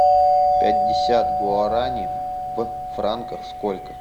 пятьдесят гуарани в франках сколько